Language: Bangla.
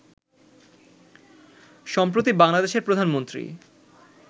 সম্প্রতি বাংলাদেশের প্রধানমন্ত্রী